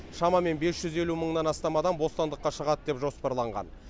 шамамен бес жүз елу мыңнан астам адам бостандыққа шығады деп жоспарланған